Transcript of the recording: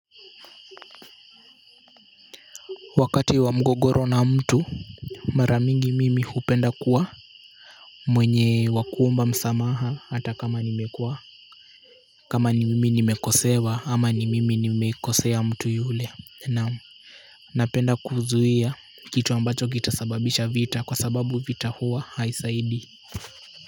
Wakati wa mgogoro na mtu mara mingi mimi hupenda kuwa mwenye wa kuomba msamaha hata kama nimekuwa kama ni mimi nimekosewa ama ni mimi nimekosea mtu yule naam napenda kuzuia kitu ambacho kitasababisha vita kwa sababu vita huwa haisaidii.